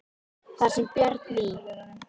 Þar sem Björn í